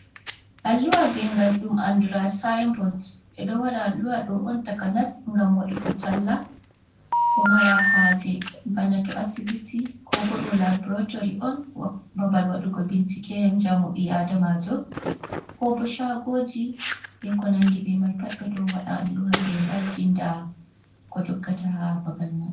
Alluha ngengal, ɗum andura sayimbots, ɓeɗo waɗa alluha ɗo on takanas ngam wadugo talla ko mara haje bana to asibiti ko bo ɗo laboraatori on, babal waɗugo bincike njamu ɓi adamajo, ko bo shagoji be ko nandi be mai pat ɓeɗo waɗa alluha ngengal vinda ko doggata ha babal mai.